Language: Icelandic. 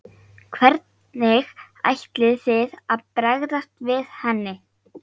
Hvernig ætlið þið að bregðast við henni?